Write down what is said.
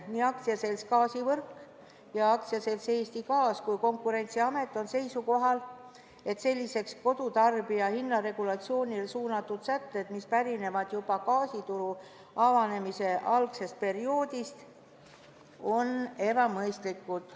Nii AS Gaasivõrk ja AS Eesti Gaas kui ka Konkurentsiamet on seisukohal, et sellised kodutarbija hinnaregulatsioonile suunatud sätted, mis pärinevad juba gaasituru avanemise eelsest perioodist, on ebamõistlikud.